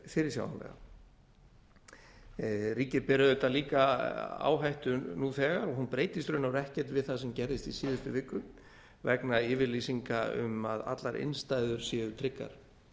fyrirsjáanlega ríkið ber auðvitað líka áhættu nú þegar hún breytist í raun og veru ekkert við það sem gerðist í síðustu viku vegna yfirlýsinga um að allar innstæður séu tryggar